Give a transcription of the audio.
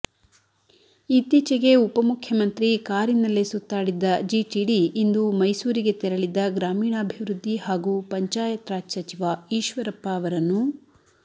ಇತ್ತೀಚೆಗೆ ಉಪಮುಖ್ಯಮಂತ್ರಿ ಕಾರಿನಲ್ಲೇ ಸುತ್ತಾಡಿದ್ದ ಜಿಟಿಡಿ ಇಂದು ಮೈಸೂರಿಗೆ ತೆರಳಿದ್ದ ಗ್ರಾಮೀಣಾಭಿವೃದ್ಧಿ ಹಾಗೂ ಪಂಚಾಯತ್ ರಾಜ್ ಸಚಿವ ಈಶ್ವರಪ್ಪ ಅವರನ್ನೂ